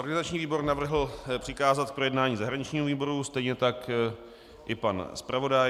Organizační výbor navrhl přikázat k projednání zahraničnímu výboru, stejně tak i pan zpravodaj.